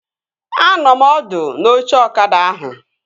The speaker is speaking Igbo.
Anọ m ọdụ n'oche ọkada ahụ